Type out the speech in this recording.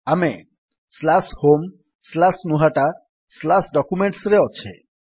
ଆମେ homegnuhataDocumentsରେ ଅଛେ